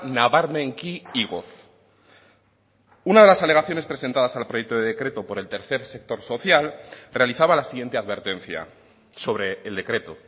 nabarmenki igoz una de las alegaciones presentadas al proyecto de decreto por el tercer sector social realizaba la siguiente advertencia sobre el decreto